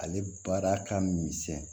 Ale baara ka misɛn